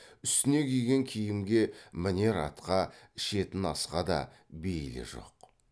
үстіне киген киімге мінер атқа ішетін асқа да бейілі жоқ